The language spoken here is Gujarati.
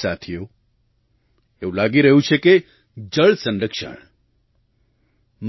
સાથીઓ એવું લાગી રહ્યું છે કે જળસંરક્ષણ